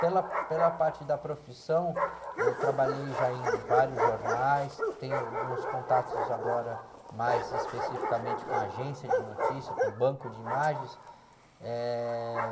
Pela, pela parte da profissão, eu trabalhei já em vários jornais, tenho alguns contatos agora mais especificamente com agência de notícias, com banco de imagens. Eh...